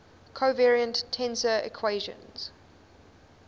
covariant tensor equations